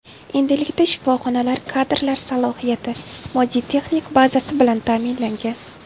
Endilikda shifoxonalar kadrlar salohiyati, moddiy texnik bazasi bilan ta’minlangan.